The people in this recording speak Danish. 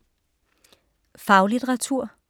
Faglitteratur